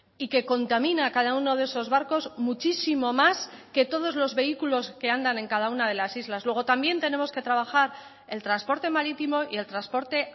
y que contamina cada uno de esos barcos muchísimo más que todos los vehículos que andan en cada una de las islas luego también tenemos que trabajar el transporte marítimo y el transporte